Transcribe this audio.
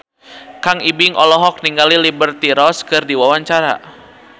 Kang Ibing olohok ningali Liberty Ross keur diwawancara